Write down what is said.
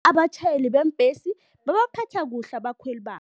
Abatjhayeli beembhesi babaphatha kuhle abakhweli babo.